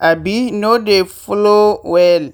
um no dey flow well.